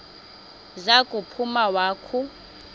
za kuphuma wakhu